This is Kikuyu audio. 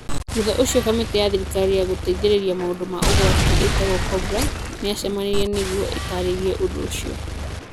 Thutha ũcio kamĩtĩ ya thirikari ya gũteithĩrĩria maũndũ ma ũgwati ĩtagwo cobra, nĩ yacemanirie nĩguo ĩtaarĩrie ũndũ ũcio.